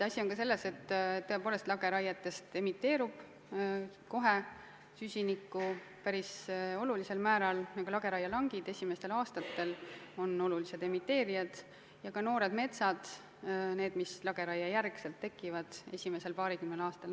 Asi on ka selles, et tõepoolest lageraietega emiteerub kohe süsinikku päris olulisel määral ning lageraielangid on esimestel aastatel olulised emiteerijad, samuti noored metsad, mis lageraiejärgselt tekivad, esimesel paarikümnel aastal.